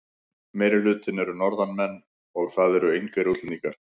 Meirihlutinn eru Norðanmenn og það eru engir útlendingar.